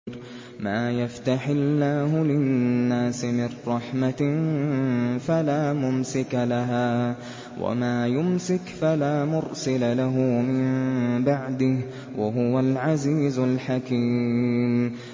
مَّا يَفْتَحِ اللَّهُ لِلنَّاسِ مِن رَّحْمَةٍ فَلَا مُمْسِكَ لَهَا ۖ وَمَا يُمْسِكْ فَلَا مُرْسِلَ لَهُ مِن بَعْدِهِ ۚ وَهُوَ الْعَزِيزُ الْحَكِيمُ